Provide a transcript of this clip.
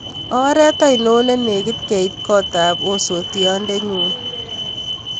Oret ainon ne negit keit kotab osotiotndenyun